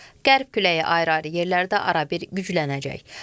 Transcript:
Qərb küləyi ayrı-ayrı yerlərdə arabir güclənəcək.